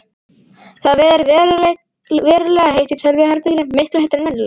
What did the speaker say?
Það ver verulega heitt í tölvuherberginu, miklu heitara en venjulega.